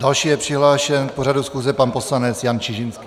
Další je přihlášen k pořadu schůze pan poslanec Jan Čižinský.